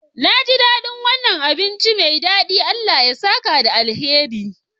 Naji daɗin wannan abinci mai daɗi, Allah ya saka da alkhairi.